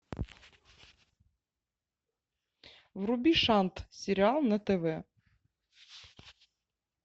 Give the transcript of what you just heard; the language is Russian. вруби шант сериал на тв